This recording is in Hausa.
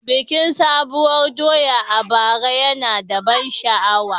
Bikin Sabuwar doya a bara yana da ban sha'awa.